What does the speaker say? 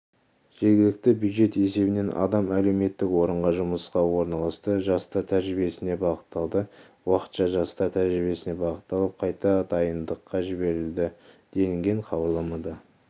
жергілікті бюджет есебінен адам әлеуметтік орынға жұмысқа орналасты жастар тәжірибесіне бағытталды уақытша жастар тәжірибесіне бағытталып қайта дайындыққа жіберілді делінген хабарламада